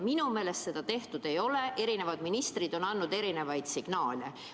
Minu meelest seda tehtud ei ole, eri ministrid on andnud erinevaid signaale.